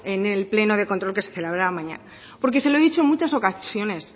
en el pleno de control que se celebrará mañana porque se lo he dicho en muchas ocasiones